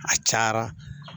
A cayara